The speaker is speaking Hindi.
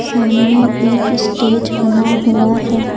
सामने एक स्टेज बना हुआ है।